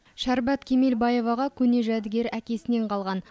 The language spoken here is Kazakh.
шәрбат кемелбаеваға көне жәдігер әкесінен қалған